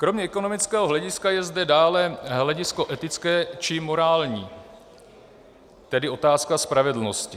Kromě ekonomického hlediska je zde dále hledisko etické či morální, tedy otázka spravedlnosti.